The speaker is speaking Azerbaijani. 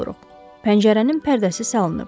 Pəncərənin pərdəsi salınıb.